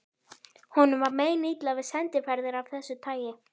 Honum var meinilla við sendiferðir af þessu tagi.